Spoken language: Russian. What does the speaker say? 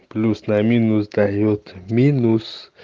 плюс на минус даёт минус